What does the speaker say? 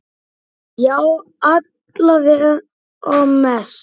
Já, alla vega mest.